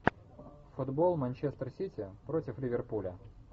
футбол манчестер сити против ливерпуля